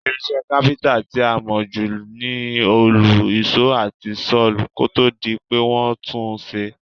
Irinsé carpenter ti a mó ju ni òòlù, ìsó àti saw kótódi pe won tun sé